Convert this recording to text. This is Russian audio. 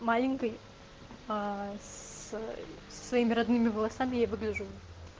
маленькой аа с со своими родными я выгляжу